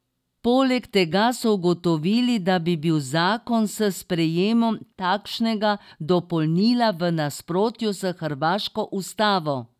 Poleg tega so ugotovili, da bi bil zakon s sprejemom takšnega dopolnila v nasprotju s hrvaško ustavo.